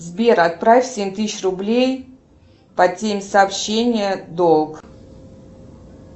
сбер отправь семь тысяч рублей по теме сообщения долг